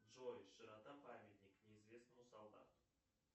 джой широта памятник неизвестному солдату